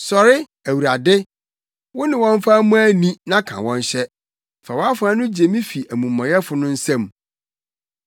Sɔre, Awurade! Wone wɔn mfa mmɔ ani na ka wɔn hyɛ; fa wʼafoa no gye me fi amumɔyɛfo no nsam.